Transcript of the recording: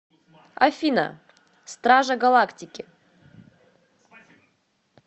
афина стража галактики